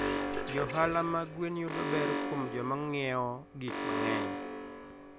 Johala mag gwen yudo ber kuom joma ng'iewo gik mang'eny.